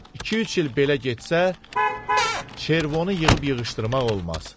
İki-üç il belə getsə, çervonu yığıb-yığışdırmaq olmaz.